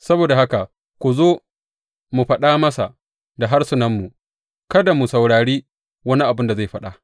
Saboda haka ku zo, mu fāɗa masa da harsunanmu kada mu saurari wani abin da zai faɗa.